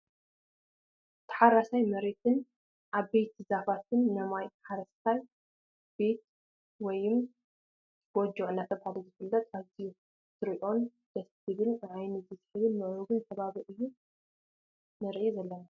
ታሓራሳይ መሬትን ዓበይቲ ዛፋትን ነማይ ሓረስታይ ቤት ወይም ጎጆ እናተባህለ ዝፍለጥ ኣዝዩ ክትርእዮ ድስ ዝብልን ንዓይኒ ስሓብን ምዕሩጉን ከባቢ እዩ ንርኢ ዘለና።